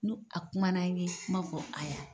Nu a kumana ye n b'a fɔ a ya .